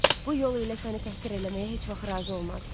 Bu yol ilə səni təhqir eləməyə heç vaxt razı olmazdım.